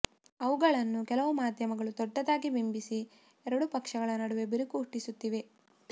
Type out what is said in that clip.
ಅವುಗಳನ್ನು ಕೆಲವು ಮಾಧ್ಯಮಗಳು ದೊಡ್ಡದಾಗಿ ಬಿಂಬಿಸಿ ಎರಡು ಪಕ್ಷಗಳ ನಡುವೆ ಬಿರುಕು ಹುಟ್ಟಿಸುತ್ತಿವೆ